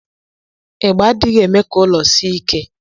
Igba adighi eme ka ụlọ sie ike.